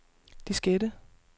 diskette